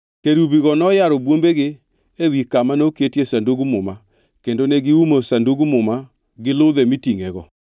Kerubigo noyaro bwombegi ewi kama noketie Sandug Muma kendo ne giumo Sandug Muma gi ludhe mitingʼego.